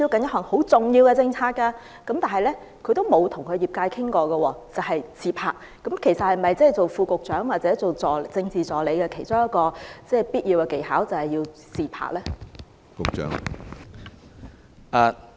不過，這位副局長未曾與業界溝通，只顧"自拍"，究竟"自拍"是否擔任副局長或政治助理的其中一項必要技能？